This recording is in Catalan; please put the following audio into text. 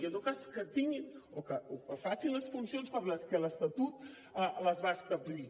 i en tot cas que tinguin o que facin les funcions per les que l’estatut les va establir